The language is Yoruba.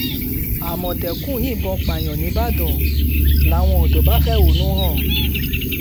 àmọ̀tẹ́kùn yìnbọn pààyàn ńìbàdàn làwọn ọ̀dọ́ bá fẹ̀hónú hàn